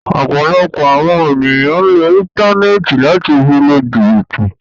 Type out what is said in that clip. Ọ̀pọ̀lọpọ̀ awọn èniyàn ǹ lo íńtánẹ́ẹ̀tì lati fi lu jìbìtì